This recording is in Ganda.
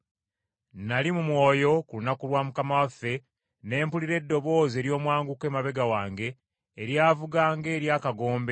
Nnali mu mwoyo ku lunaku lwa Mukama waffe, ne mpulira eddoboozi ery’omwanguka emabega wange, eryavuga ng’ery’akagombe,